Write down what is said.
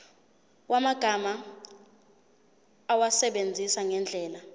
yamagama awasebenzise ngendlela